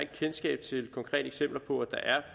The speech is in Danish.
kendskab til konkrete eksempler på at der er